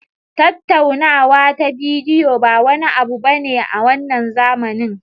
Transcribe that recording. Tattaunawa ta bidiyo ba wani abu bane a wannan zamanin.